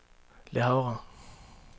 Le Havre